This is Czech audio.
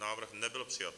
Návrh nebyl přijat.